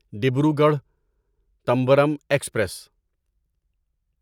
Dibrugarh Tambaram express